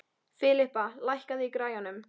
Filippa, lækkaðu í græjunum.